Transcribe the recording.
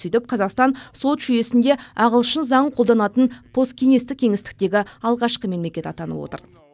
сөйтіп қазақстан сот жүйесінде ағылшын заңын қолданатын посткеңестік кеңістіктегі алғашқы мемлекет атанып отыр